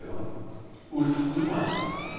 Ulf Guldbrandsen